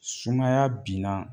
Sumaya binna